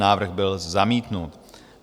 Návrh byl zamítnut.